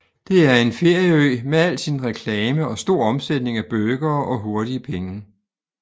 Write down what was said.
Det er en ferieø med al sin reklame og stor omsætning af burgere og hurtige penge